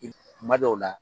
tuma dɔw la